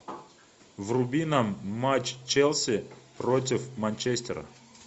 вруби нам матч челси против манчестера